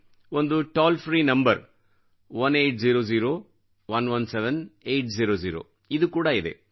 ಒಂದು toll free number 1800117800 ಕೂಡಾ ಇದೆ